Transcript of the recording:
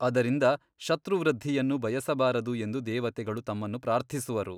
ಅದರಿಂದ ಶತ್ರುವೃದ್ಧಿಯನ್ನು ಬಯಸಬಾರದು ಎಂದು ದೇವತೆಗಳು ತಮ್ಮನ್ನು ಪ್ರಾರ್ಥಿಸುವರು.